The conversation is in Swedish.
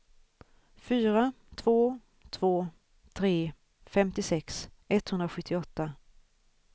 fyra två två tre femtiosex etthundrasjuttioåtta